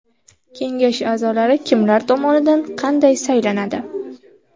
Kengash a’zolari kimlar tomonidan, qanday saylanadi?